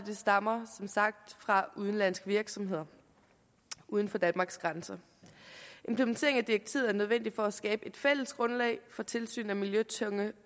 stammer som sagt fra udenlandske virksomheder uden for danmarks grænser implementeringen af direktivet er nødvendig for at skabe et fælles grundlag for tilsyn af miljøtunge